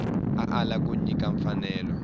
a ala ku nyika mfanelo